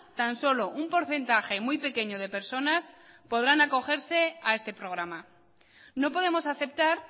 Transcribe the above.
tan solo un porcentaje muy pequeño de personas podrán acogerse a este programa no podemos aceptar